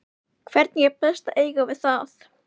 Hvernig er best að eiga við það?